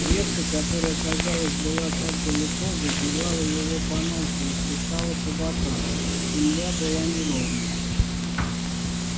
ветка которая казалось была так далеко задевала его по носу и хлестала по бокам земля была неровная